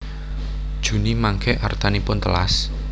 Juni mangke artanipun telas?